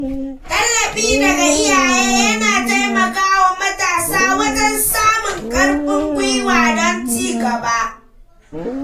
Tallafi daga iyaye yana taimaka wa matasa wajen samun ƙarfin guiwa don cigaba.